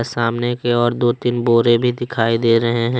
सामने की ओर दो तीन बोरे भी दिखाई दे रहे है।